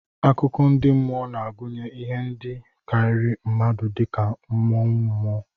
Akụkọ ndị mmụọ na-agụnye ihe ndị karịrị mmadụ dị ka mmụọ, mmụọ.